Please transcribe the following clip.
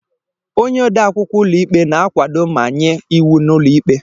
Onye ode akwụkwọ ụlọikpe na-akwado ma nye iwu n'ụlọ ikpe.